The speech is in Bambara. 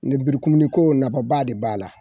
Lenmurukumuniko nafaba de b'a la